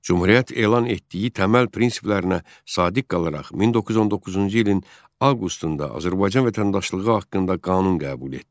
Cümhuriyyət elan etdiyi təməl prinsiplərinə sadiq qalaraq 1919-cu ilin avqustunda Azərbaycan vətəndaşlığı haqqında qanun qəbul etdi.